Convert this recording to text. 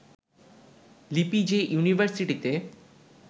লিপি যে ইউনিভার্সিটিতে